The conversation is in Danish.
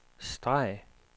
streg